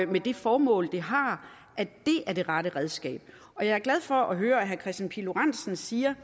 med det formål det har er det rette redskab og jeg er glad for at høre at herre kristian pihl lorentzen siger